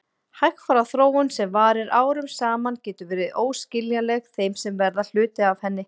Hægfara þróun sem varir árum saman getur verið óskiljanleg þeim sem verða hluti af henni.